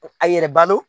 A yɛrɛ balo